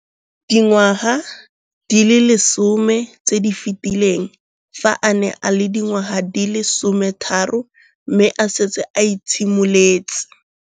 Dingwaga di le 10 tse di fetileng, fa a ne a le dingwaga di le 23 mme a setse a itshimoletse